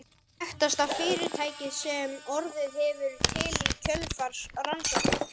Þekktasta fyrirtækið sem orðið hefur til í kjölfar rannsókna